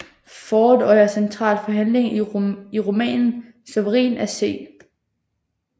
Ford og er central for handlingen i romanen Sovereign af C